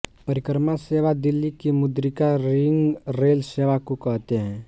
परिक्रमा सेवा दिल्ली की मुद्रिका रिंग रेल सेवा को कहते हैं